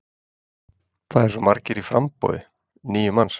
Það eru svo margir í framboði, níu manns?